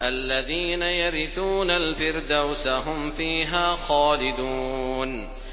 الَّذِينَ يَرِثُونَ الْفِرْدَوْسَ هُمْ فِيهَا خَالِدُونَ